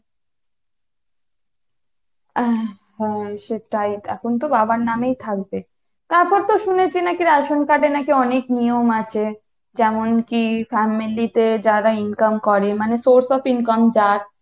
আহ হ্যাঁ সেটাই এখন তো বাবার নামেই থাকবে, এখন তো শুনেছি রেশন card এ নাকি অনেক নিয়ম আছে যেমন কী family তে যারা income করে মানে source of income যার